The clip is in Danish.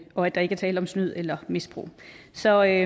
og at der ikke er tale om snyd eller misbrug så af